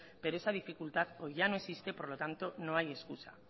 pero esa dificultad hoy ya no existe por lo tanto no hay excusa